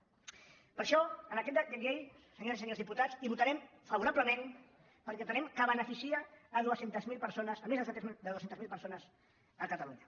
per això en aquest decret llei senyores i senyors dipu·tats hi votarem favorablement perquè entenem que be·neficia dos cents miler persones més de dos cents miler persones a catalunya